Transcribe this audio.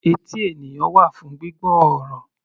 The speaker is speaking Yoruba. Etí ènìyàn wà fún gbígbọ́ ọ̀rọ̀.